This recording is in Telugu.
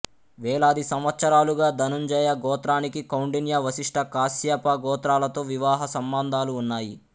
వేలాది సంవత్సరాలుగా ధనుంజయ గోత్రానికి కౌండిన్య వశిష్ట కాస్యప గోత్రాలతో వివాహ సంబంధాలు ఉన్నాయి